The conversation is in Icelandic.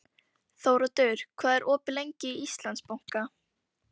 Þóroddur, hvað er opið lengi í Íslandsbanka?